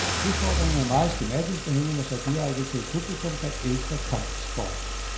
Udfordringen er meget skematisk og henvender sig direkte til et publikum, der elsker kampsport.